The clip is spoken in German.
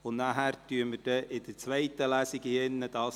PEV [Wenger, Spiez] ;